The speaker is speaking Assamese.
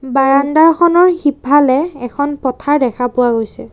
বাৰাণ্ডাখনৰ সিফালে এখন পথাৰ দেখা পোৱা গৈছে।